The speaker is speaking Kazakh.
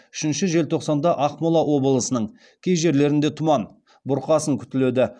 үшінші желтоқсанда ақмола облысының кей жерлерінде тұман бұрқасын күтіледі